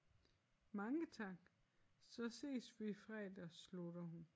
Mange tak så ses vi fredag slutter hun